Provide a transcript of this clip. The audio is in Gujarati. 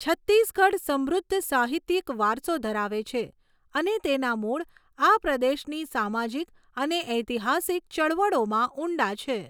છત્તીસગઢ સમૃદ્ધ સાહિત્યિક વારસો ધરાવે છે અને તેના મૂળ આ પ્રદેશની સામાજિક અને ઐતિહાસિક ચળવળોમાં ઊંડા છે.